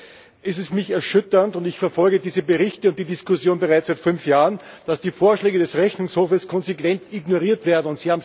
Allerdings ist es für mich erschütternd und ich verfolge diese Berichte und die Diskussion bereits seit fünf Jahren dass die Vorschläge des Rechnungshofes konsequent ignoriert werden.